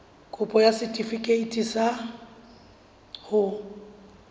kopo ya setefikeiti sa ho